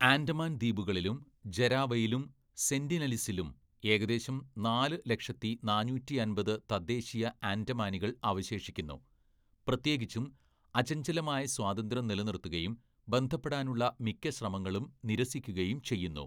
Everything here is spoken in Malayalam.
ആൻഡമാൻ ദ്വീപുകളിലും ജരാവയിലും സെന്റിനലീസിലും ഏകദേശം നാല് ലക്ഷത്തി നാന്നൂറ്റിയമ്പത്‌ തദ്ദേശീയ ആൻഡമാനികൾ അവശേഷിക്കുന്നു, പ്രത്യേകിച്ചും, അചഞ്ചലമായ സ്വാതന്ത്ര്യം നിലനിർത്തുകയും ബന്ധപ്പെടാനുള്ള മിക്ക ശ്രമങ്ങളും നിരസിക്കുകയും ചെയ്യുന്നു.